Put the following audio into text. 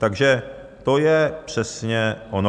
Takže to je přesně ono.